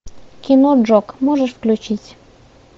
кино джок можешь включить